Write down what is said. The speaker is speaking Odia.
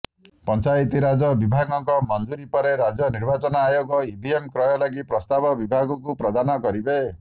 ପଞ୍ଚାୟତିରାଜ ବିଭାଗଙ୍କ ମଞ୍ଜୁରି ପରେ ରାଜ୍ୟ ନିର୍ବାଚନ ଆୟୋଗ ଇଭିଏମ କ୍ରୟ ଲାଗି ପ୍ରସ୍ତାବ ବିଭାଗଙ୍କୁ ପ୍ରଦାନ କରିବେ